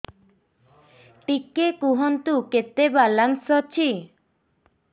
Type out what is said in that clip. ଟିକେ କୁହନ୍ତୁ କେତେ ବାଲାନ୍ସ ଅଛି